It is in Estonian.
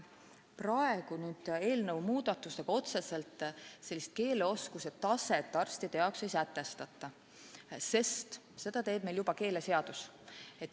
Praegu eelnõus pakutud muudatustega otseselt keeleoskuse taset arstide jaoks ei sätestata, sest seda teeb meil keeleseadus.